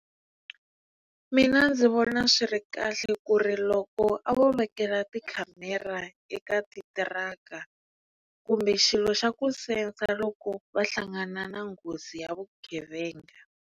Mina ndzi vona swi ri kahle ku ri loko a vo vekela tikhamera eka titiraka kumbe xilo xa ku sensa loko va hlangana na nghozi ya vugevenga.